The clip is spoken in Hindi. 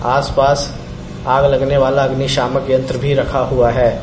आसपास आग लगने वाला अग्निशामक यंत्र भी रखा हुआ है।